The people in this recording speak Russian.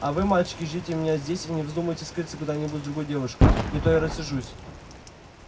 а вы мальчики ждите меня здесь и не вздумайте скрыться куда-нибудь с другой девушкой не то я рассержусь